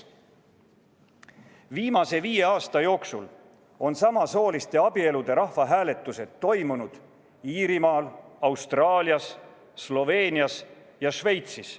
Viimase viie aasta jooksul on samasooliste abielude rahvahääletused toimunud Iirimaal, Austraalias, Sloveenias ja Šveitsis.